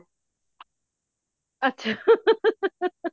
ਅੱਛਾ